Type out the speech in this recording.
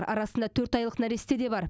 арасында төрт айлық нәресте де бар